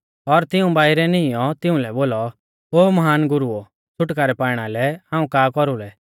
और तिऊं बाइरै नीईंयौ तिउंलै बोलौ ओ महान गुरुओ छ़ुटकारै पाइणा लै हाऊं का कौरुलै